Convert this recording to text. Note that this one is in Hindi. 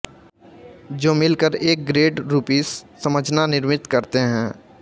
जो मिल कर एक ग्रेड रूपीस समझना निर्मित करते हैं